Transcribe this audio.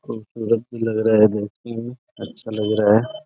खूबसूरत भी लग रहा है देखने में। अच्छा लग रहा है।